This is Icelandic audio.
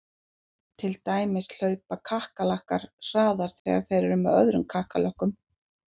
Til dæmis hlaupa kakkalakkar hraðar þegar þeir eru með öðrum kakkalökkum!